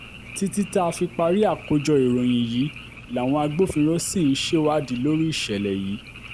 títí tá a fi parí àkójọ ìròyìn yìí làwọn agbófinró ṣì ń ṣèwádìí lórí ìṣẹ̀lẹ̀ yìí